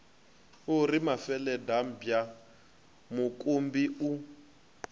u ri mafeladambwa mukumbi u